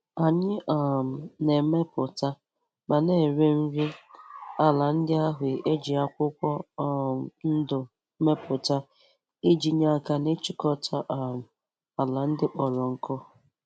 Anyị um na-emepụta ma na-ere.nri ala ndị ahụ e ji akwụkwọ um ndụ mepụuta iji nye aka n'ịchịkọta um ala ndị kpọrọ nkụ.